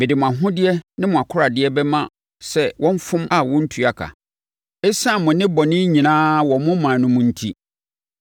“Mede mo ahodeɛ ne mo akoradeɛ bɛma sɛ wɔmfom a wɔrentua ka, ɛsiane mo nnebɔne nyinaa wɔ mo ɔman no mu enti.